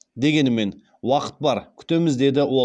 дегенімен уақыт бар күтеміз деді ол